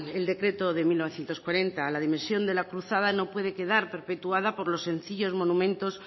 el decreto de mil novecientos cuarenta la dimisión de la cruzada no puede quedar perpetuada por los sencillos monumentos